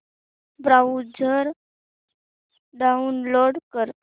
browser download कर